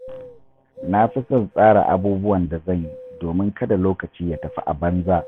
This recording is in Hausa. Na fi son tsara abubuwan da zan yi domin kada lokaci ya tafi a banza.